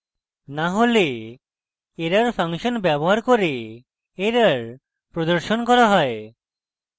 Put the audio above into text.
না হলে error function ব্যবহার করে error প্রদর্শন করা হয়